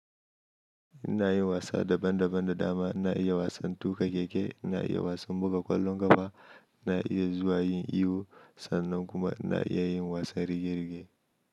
Ina yin wasa daban daban da dama. Ina iya wasan tuƙa keke, na iya wasan buga ƙwallon ƙafa, na iya zuwa yin iyo sannan kuma na iya yin wasan rige rige.